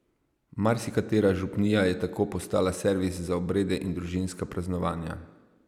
Marsikatera župnija je tako postala servis za obrede in družinska praznovanja.